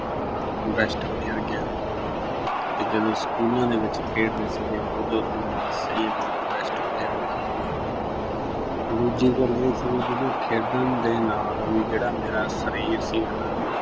bestplayer ਗਿਆ ਤੇ ਜਦੋਂ schools ਦੇ ਵਿੱਚ ਖੇਡਦੇ ਸੀਗੇ ਉਦੋਂ ਤੁਹਾਨੂੰ ਮੈਂ ਦੱਸਿਆ ਈ ਆ ਵੀ ਮੈਂ best player ਹੁੰਦਾ ਸੀਗਾ ਦੂਜੀ ਗੱਲ ਇਹ ਸੀ ਵੀ ਨਾ ਖੇਡਾਂ ਦੇ ਨਾਲ ਵੀ ਜਿਹੜਾ ਮੇਰਾ ਸਰੀਰ ਸੀਗਾ ਨਾ